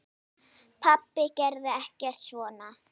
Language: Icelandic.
Pabbi gerði ekkert svona.